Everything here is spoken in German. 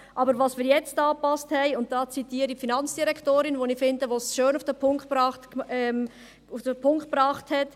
Aber was wir hier angepasst haben – und hier zitiere ich die Finanzdirektorin, die es schön auf den Punkt gebracht hat: